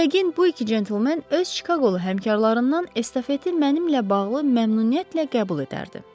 Yəqin bu iki centlmen öz Çikaqolu həmkarlarından estafeti mənimlə bağlı məmnuniyyətlə qəbul edərdi.